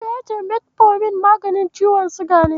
Musa ya ce Metfomin maganin ciwon siga ne.